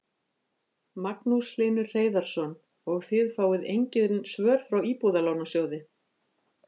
Magnús Hlynur Hreiðarsson: Og þið fáið engin svör frá Íbúðalánasjóði?